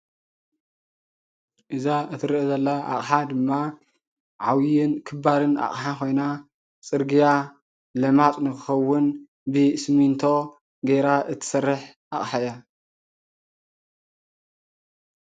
እዛ እትርአ ዘላ ኣቅሓ ድማ ዓብዩን ክባርን ኣቅሓ ኮይና ፅርግያ ለማፅ ንክከውን ብስሚንቶ ጌራ እትሰርሕ ኣቅሓ እያ ።